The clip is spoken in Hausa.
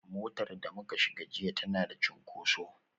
Motar da muka shiga jiya tana da cunkoso